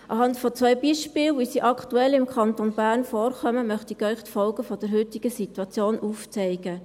Anhand zweier Beispiele, wie sie im Kanton Bern aktuell vorkommen, möchte ich Ihnen die Folgen der heutigen Situation aufzeigen.